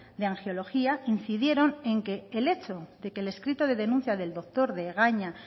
de angiología incidieron en que el hecho de que el escrito de denuncia del doctor de egaña